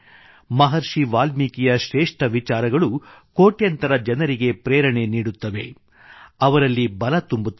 ಮಹರ್ಷಿ ವಾಲ್ಮೀಕಿಯ ಶ್ರೇಷ್ಠ ವಿಚಾರಗಳು ಕೋಟ್ಯಂತರ ಜನರಿಗೆ ಪ್ರೇರಣೆ ನೀಡುತ್ತವೆ ಅವರಲ್ಲಿ ಬಲ ತುಂಬುತ್ತವೆ